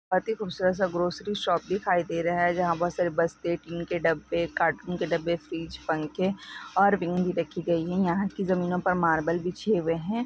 बहुत ही खूबसूरत सा ग्रॉससरी शॉप दिखाई दे रहे है जहा पर प्लास्टिक के डब्बे कार्टून क डब्बे बीच पंखे और बिंगी रखी गई है यहा की ज़मीनों पर मार्बल बिछे हुए है।